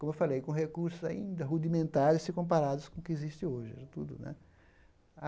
Como eu falei, com recursos ainda rudimentares, se comparados com o que existe hoje. tudo né